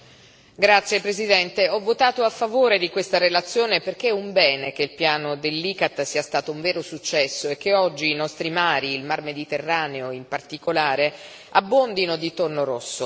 Signor Presidente, onorevoli colleghi, ho votato a favore di questa relazione perché è un bene che il piano dell'ICCAT sia stato un vero successo e che oggi i nostri mari, il Mar Mediterraneo in particolare, abbondino di tonno rosso.